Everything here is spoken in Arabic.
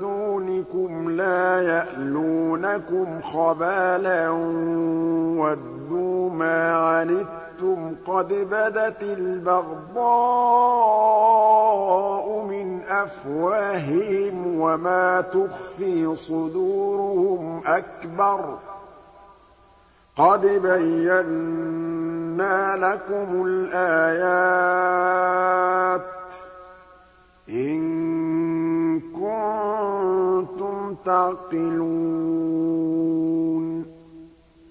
دُونِكُمْ لَا يَأْلُونَكُمْ خَبَالًا وَدُّوا مَا عَنِتُّمْ قَدْ بَدَتِ الْبَغْضَاءُ مِنْ أَفْوَاهِهِمْ وَمَا تُخْفِي صُدُورُهُمْ أَكْبَرُ ۚ قَدْ بَيَّنَّا لَكُمُ الْآيَاتِ ۖ إِن كُنتُمْ تَعْقِلُونَ